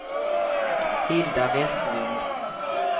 Hilda Westlund